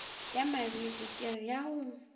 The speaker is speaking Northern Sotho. ya mabili kere ya go